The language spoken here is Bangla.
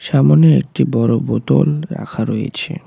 সামনে একটি বড় বোতল রাখা রয়েছে।